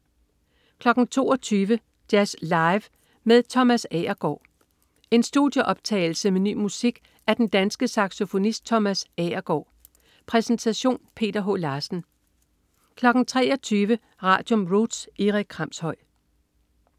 22.00 Jazz Live med Thomas Agergaard. En studieoptagelse med ny musik af den danske saxofonist Thomas Agergaard. Præsentation: Peter H. Larsen 23.00 Radium. Roots. Erik Kramshøj